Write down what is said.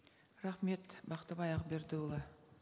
рахмет бақтыбай ақбердіұлы